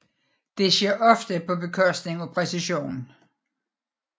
Dette sker ofte på bekostning af præcision